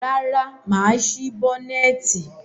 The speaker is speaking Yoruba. Rárá, mà á sí bọ́nẹ́ẹ̀tì.